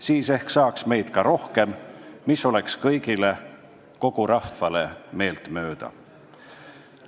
Siis ehk saaks meid rohkem, mis oleks kõigile, kogu rahvale meeltmööda.